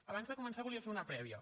abans de començar volia fer una prèvia